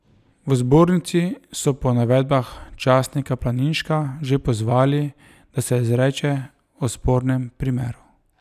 V zbornici so po navedbah časnika Planinška že pozvali, da se izreče o spornem primeru.